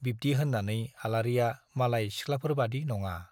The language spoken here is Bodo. बिब्दि होन्नानै आलारिया मालाय सिख्लाफोरबादि नङा।